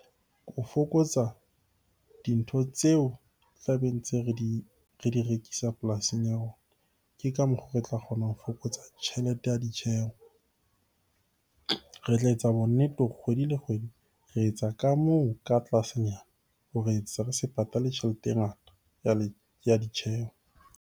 Ho fokotsa dintho tseo tlabe ntse re di rekisa polasing ya rona, ke ka mokgo re tla kgona ho fokotsa tjhelete ya ditjheho. Re tla etsa bonnete hore kgwedi le kgwedi re etsa ka moo ka tlasenyana hore re se patale tjhelete e ngata ya ditjheho.